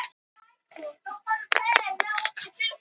Um morguninn var nett flott að sjá ljósin kvikna í glugg